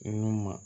Nɔnɔ ma